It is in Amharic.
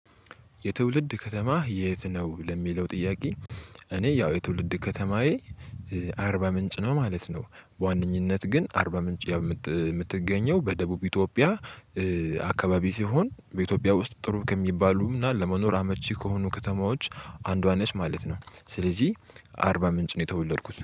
የትውልድ ከተማ የት ነው ለሚለው ጥያቄ? እኔ ያው የትውልድ ከተማዬ አርባ ምንጭ ነው ማለት ነው። በዋነኝነት ግን አርባ ምንጭ የምትገኘው በደቡብ ኢትዮጵያ። አካባቢ ሲሆን በኢትዮጵያ ውስጥ ጥሩ ከሚባሉ እና ለመኖር አመቺ ከሆኑ ከተማዎች አንዷ ነሽ ማለት ነው። ስለዚህ አርባ ምንጭ ነው የተወለድኩት